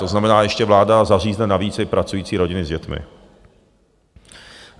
To znamená ještě vláda zařízne navíc i pracující rodiny s dětmi.